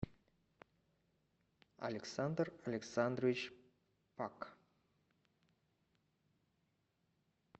александр александрович пак